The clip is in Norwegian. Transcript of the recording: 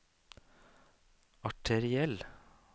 arteriell